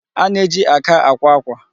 A na-eji aka àkwá ákwà.